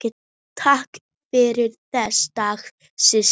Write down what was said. Takk fyrir þessa daga, systir.